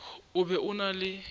o be o na le